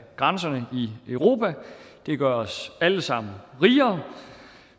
grænserne i europa det gør os alle sammen rigere